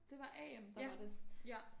Det var Am der var det ja